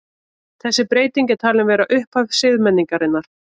Þessi breyting er talin vera upphaf siðmenningarinnar.